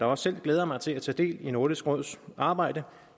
også selv glæder mig til at tage del i nordisk råds arbejde